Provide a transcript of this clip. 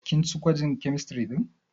Kin ci gwajin kemistiri ɗin?